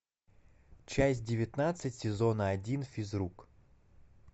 часть девятнадцать сезона один физрук